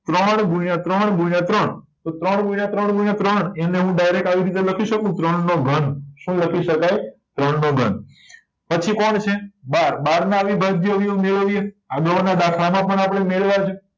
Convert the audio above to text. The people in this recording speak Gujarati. ત્રણ ગુણ્યા ત્રણ ગુણ્યા ત્રણ તો ત્રણ ગુણ્યા ત્રણ ગુણ્યા ત્રણ એને હું direct આવી રીતે લખી શકું ત્રણ નો ઘન શું લખાય ત્રણ નો ઘન પછી કોણ છે બાર બાર નાં અવિભાજ્ય અવયવી મેળવીએ આગળ નાં દાખલા માં પણ આપડે મેળવ્યા છે